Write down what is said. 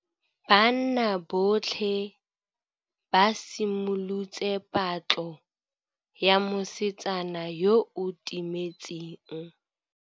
Banna botlhê ba simolotse patlô ya mosetsana yo o timetseng.